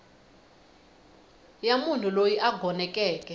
ya munhu loyi a gonekeke